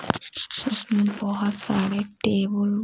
बहुत सारे टेबुल --